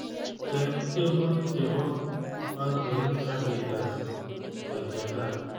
Cheng tyenwogik chebo pangoit akigas kochesan